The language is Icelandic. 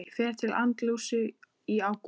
Ég fer til Andalúsíu í ágúst.